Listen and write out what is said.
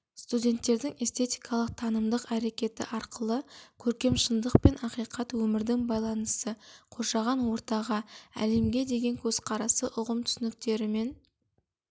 әдеби білім берудегі антропоөзектілік концестуальдық ұстанымдары студенттің әдеби мәтіндер негізінде ғаламды қабылдауы мен тануы түйсінуі мен түсінуі